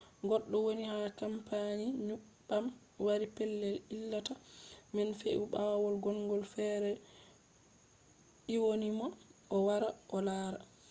goɗɗo woni ha kampani nyebbam wari pellel ilata man fe’i ɓawo gondo fere ɗyonimo o wara o lara